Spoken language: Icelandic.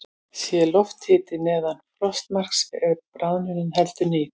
Sé lofthiti neðan frostmarks er bráðnunin heldur rýr.